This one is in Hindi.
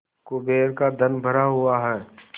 कुबेर का धन भरा हुआ है